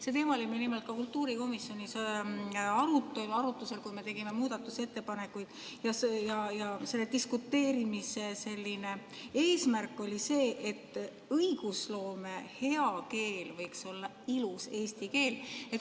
See teema oli meil ka kultuurikomisjonis arutelu all, kui tegime muudatusettepanekuid, ja selle diskuteerimise eesmärk oli see, et hea õigusloome keel võiks olla ilus eesti keel.